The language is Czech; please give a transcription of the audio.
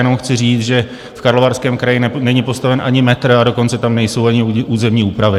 Jenom chci říct, že v Karlovarském kraji není postaven ani metr, a dokonce tam nejsou ani územní úpravy.